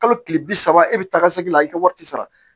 Kalo tile bi saba e bɛ taa ka segin la i ka wari ti sara